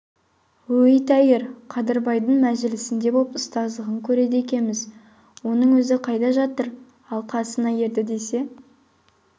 өй тәйір қадырбайдың мәжілісінде боп ұстаздығын көреді екеміз оның өзі қайда жатыр ал қасына ерді десе